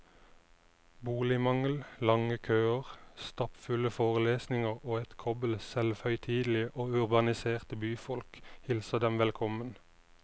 Boligmangel, lange køer, stappfulle forelesninger og et kobbel selvhøytidelige og urbaniserte byfolk hilser dem velkommen.